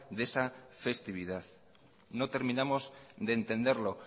de esa festividad no terminamos de entenderlo